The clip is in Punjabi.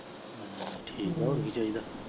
ਠੀਕ ਆ ਹੋਰ ਕੀ ਚਾਹੀਦਾ।